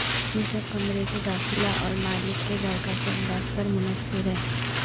یہ سب کمرے کے داخلہ اور مالک کے ذائقہ کے انداز پر منحصر ہے